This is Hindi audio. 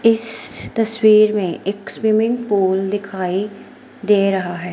इस तस्वीर में एक स्विमिंग पूल दिखाई दे रहा है।